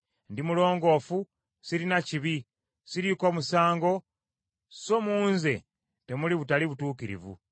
Ndi mulongoofu sirina kibi, siriiko musango so mu nze temuli butali butuukirivu.